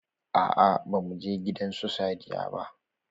Aa ba mu je gidan su Sadiya ba.